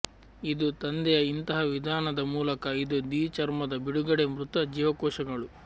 ಇದು ತಂದೆಯ ಇಂತಹ ವಿಧಾನದ ಮೂಲಕ ಇದು ದಿ ಚರ್ಮದ ಬಿಡುಗಡೆ ಮೃತ ಜೀವಕೋಶಗಳು